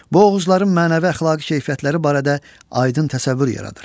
Bu oğuzların mənəvi əxlaqi keyfiyyətləri barədə aydın təsəvvür yaradır.